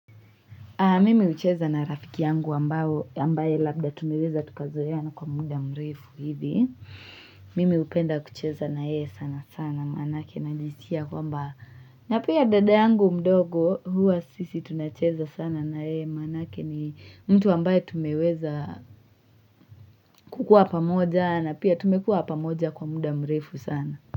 Mimi hucheza na rafiki yangu ambaye labda tumeweza tukazoeana kwa muda mrefu hivi. Mimi hupenda kucheza nayeye sana sana maanake na najiskia kwamba. Na pia dada yangu mdogo huwa sisi tunacheza sana nayeye maanake ni mtu ambaye tumeweza kukua pamoja na pia tumekuwa pamoja kwa muda mrefu sana.